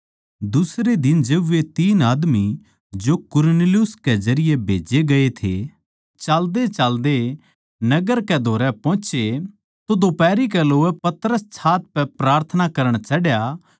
दुसरै दिन जिब वे तीन आदमी जो कुरनेलियुस जरिये भेजे गये थे चाल्देचाल्दे नगर कै धोरै पोहोचे तो दोफारी कै लोवै पतरस छात पै प्रार्थना करण चढ़या